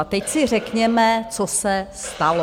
A teď si řekněme, co se stalo.